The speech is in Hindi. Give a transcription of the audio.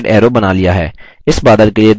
हमने dotted arrow बना लिया है